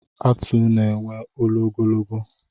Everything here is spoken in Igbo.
Atụ na-enwe olu ogologo.